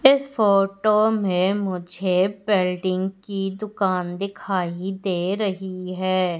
इस फोटो में मुझे पेल्डिंग की दुकान दिखाई दे रही है।